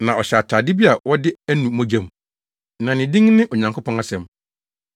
Na ɔhyɛ atade bi a wɔde anu mogya mu. Na ne din ne “Onyankopɔn Asɛm”